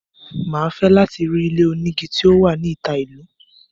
Màá fẹ́ láti rí ilé onígi tí ó wà ní ìta ìlú